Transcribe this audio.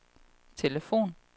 telefon